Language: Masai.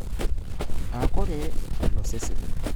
O Korea Olosaen